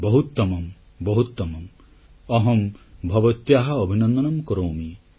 ବହୁତମମ୍ ବହୁତମମ୍ ଅହଂ ଭବତ୍ୟାଃ ଅଭିନନ୍ଦନଂ କରୋମି